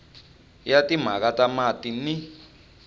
ya timhaka ta mati ni